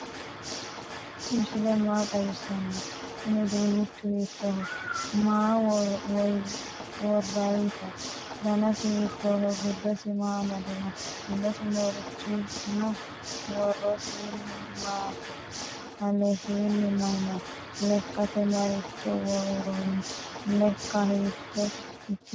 tini misile maa xawisano? kuuni udunnichu hittoho? maa worayiho? danasi hitoho? gidosi maa amadini? mulesi marichi no?worosini mayino? alesini mayi no? lekkate maricho woroni? lekka hitto ikkite no?